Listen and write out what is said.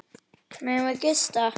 Megum við gista?